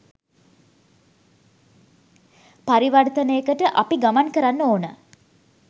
පරිවර්තනයකට අපි ගමන් කරන්න ඕන.